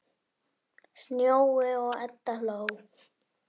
Sjóni og Edda hló.